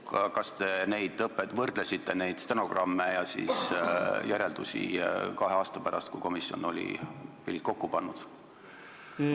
Kas te võrdlesite neid stenogramme ja järeldusi, mis tehti kahe aasta pärast, kui komisjon oli pillid kotti pannud?